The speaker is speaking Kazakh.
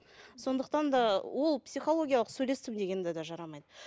сондықтан да ол психологиялық сөйлестім деген де жарамайды